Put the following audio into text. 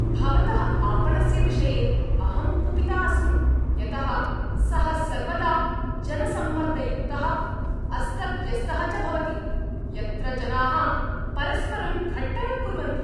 भवतः आपणस्य विषये अहं कुपिता अस्मि, यतः सः सर्वदा जनसम्मर्दयुक्तः, अस्तव्यस्तः च भवति, यत्र जनाः परस्परं घट्टनं कुर्वन्ति।